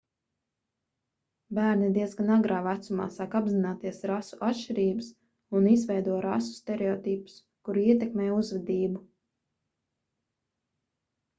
bērni diezgan agrā vecumā sāk apzināties rasu atšķirības un izveido rasu stereotipus kuri ietekmē uzvedību